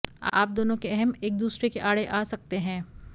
आप दोनों के अहं एक दूसरे के आड़े आ सकते हैं